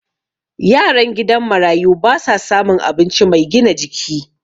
yaran gidan marayu ba sa samun abinci Mai gina jiki